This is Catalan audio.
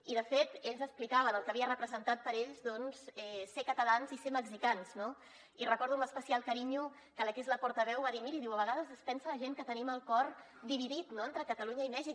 i de fet ells explicaven el que havia representat per ells ser catalans i ser mexicans no i recordo amb especial carinyo que la que és la portaveu va dir miri diu a vegades es pensa la gent que tenim el cor dividit no entre catalunya i mèxic